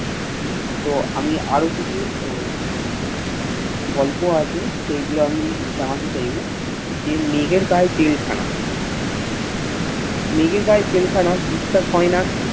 তো আমি আর কিছু আহ গল্প আছে সেগুলো আমি জানাতে চাইবো যে মেঘের গায়ে জেল খান মেঘের গায়ে জেল খানা বিশ্বাস হয়না